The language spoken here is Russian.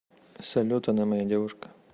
салют она моя девушка